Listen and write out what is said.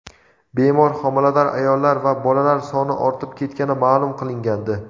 bemor homilador ayollar va bolalar soni ortib ketgani ma’lum qilingandi.